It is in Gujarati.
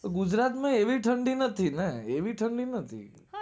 ગુજરાત માં એવી ઠંડી નથી ને એવી ઠંડી નથી